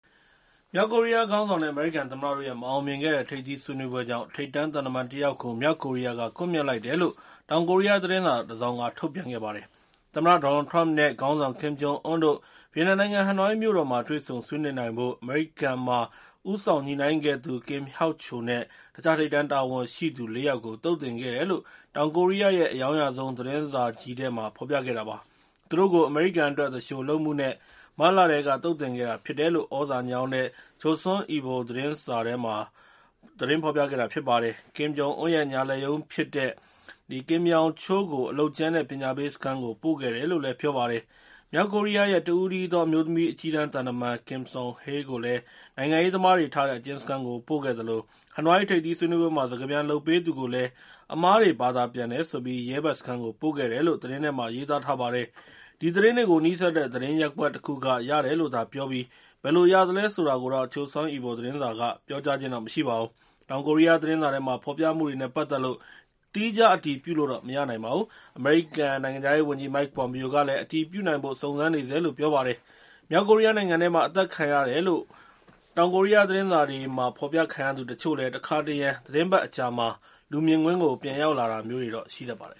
မြောက်ကိုရီးယားခေါင်းဆောင်နဲ့ အမေရိကန်သမ္မတတို့ရဲ့ မအောင်မြင်ခဲ့တဲ့ ထိပ်သီးဆွေးနွေးပွဲကြောင့် ထိပ်တန်းသံတမန်တယောက်ကို မြောက်ကိုရီးယားက ကွပ်မျက်လိုက်တယ်လို့ တောင်ကိုရီးယား သတင်းစာတစောင်က သတင်းထုတ်ပြန်ခဲ့ပါတယ်။ သမ္မတ Donald Trump နဲ့ ခေါင်းဆောင် Kim Jong Un တို့ Vietnam နိုင်ငံ Hanoi မြို့တော်မှာ တေ့ွဆုံဆွေးနွေးနိုင်ဖို့ အမေရိကန်မှာ ဦးဆောင်ညှိနှိုင်းခဲ့သူ Kim Hyok-chol နဲ့ တခြားထိပ်တန်းတာဝန်ရှိသူ ၄ ယောက်ကို သုတ်သင်ခဲ့တယ်လို့ တောင်ကိုရီးယားရဲ့ အရောင်းရဆုံး သတင်းစာကြီးထဲမှာ ဖော်ပြခဲ့တာပါ။ သူတို့ကို အမေရိကန်အတွက် သူလျှိုလုပ်မှုနဲ့ မတ်လထဲက သုတ်သင်ခဲ့တာဖြစ်တယ်လို့ သြဇာညောင်းတဲ့ Chosun Ilbo သတင်းစာထဲမှာ သတင်းဖော်ပြခဲ့တာ ဖြစ်ပါတယ်။ Kim Jong Un ရဲ့ ညာလက်ရုံးဖြစ်ခဲ့တဲ့ Kim Yong-chol ကို အလုပ်ကြမ်းနဲ့ ပညာပေးစခန်းကို ပို့ခဲ့တယ်လို့လည်း ပြောပါတယ်။ မြောက်ကိုရီးယားရဲ့ တဦးတည်းသောအမျိုးသမီး အကြီးတန်းသံတမန် Kim Song-hye ကိုလည်း နိုင်ငံရေးသမားတွေထားတဲ့ အကျဉ်းစခန်းကို ပို့ခဲ့သလို Hanoi ထိပ်သီးဆွေးနွေးပွဲမှာ စကားပြန်လုပ်ပေးသူကိုလည်း အမှားတွေဘာသာပြန်တယ်ဆိုပြီး ရဲဘက်စခန်းကို ပို့ခဲ့တယ်လို့ သတင်းထဲမှာ ရေးသားထားပါတယ်။ ဒီသတင်းတွေကို နီးစပ်တဲ့ သတင်းရပ်ကွက်တခုက ရတယ်လို့သာပြောပြီး ဘယ်လိုရသလဲဆိုတာတော့ Chosun Ilbo သတင်းစာက ပြောကြားခြင်းမရှိပါဘူး။ တောင်ကိုရီးယားသတင်းစာထဲမှာ ဖော်ပြမှုတွေနဲ့ပါတ်သက်လို့ သီးခြားအတည်ပြုလို့ မရနိုင်ပါဘူး။ အမေရိကန် နိုင်ငံခြားရေးဝန်ကြီး Mike Pompeo ကလည်း အတည်ပြုနိုင်ဖို့ စုံစမ်းနေဆဲလို့ ပြောပါတယ်။ မြောက်ကိုရီးယားနိုင်ငံထဲမှာ အသတ်ခံရတယ်လို့ တောင်ကိုရီးယားသတင်းစာတွေမှာ ဖော်ပြခံရသူတချို့လည်း တခါတရံ သီတင်းပတ်အကြာမှာ လူမြင်ကွင်း ပြန်ရောက်လာတာမျိုးတွေတော့ ရှိတတ်ပါတယ်